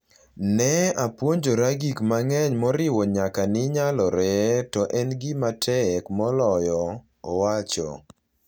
Ne apuonjora gik mang’eny moriwo nyaka ni nyalore to en gima tek moloyo, owacho.